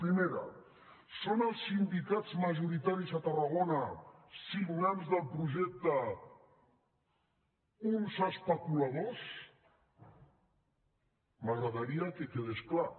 primera són els sindicats majoritaris a tarragona signants del projecte uns especuladors m’agradaria que quedés clar